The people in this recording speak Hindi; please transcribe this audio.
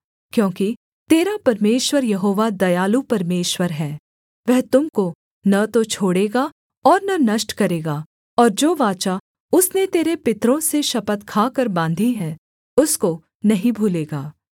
क्योंकि तेरा परमेश्वर यहोवा दयालु परमेश्वर है वह तुम को न तो छोड़ेगा और न नष्ट करेगा और जो वाचा उसने तेरे पितरों से शपथ खाकर बाँधी है उसको नहीं भूलेगा